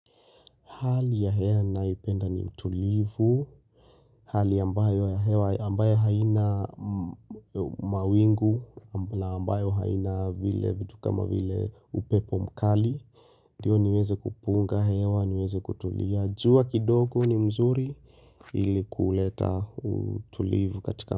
Hali ya hewa ninaipenda ni utulivu, hali ambayo ya hewa ambayo haina mawingu, ambayo haina vile vitu kama vile upepo mkali. Ndio niweze kupunga hewa niweze kutulia. Jua kidogo ni mzuri ili kuleta utulivu katika.